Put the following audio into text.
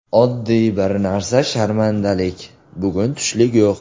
Oddiy bir narsa sharmandalik bugun tushlik yo‘q.